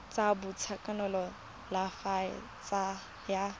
sa boitekanelo sa kalafi ya